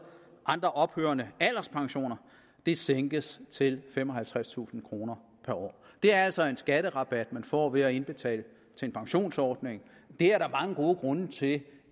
andre ophørende alderspensioner sænkes til femoghalvtredstusind kroner per år det er altså en skatterabat man får ved at indbetale til en pensionsordning der er mange gode grunde til